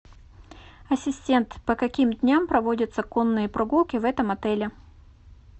ассистент по каким дням проводятся конные прогулки в этом отеле